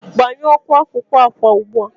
Gbanyoụ oku akụkụ akwa ugbu a!